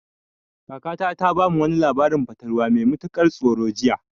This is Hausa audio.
Kakata ta bamu wani labarin fatalwa mai matukar tsoro jiya.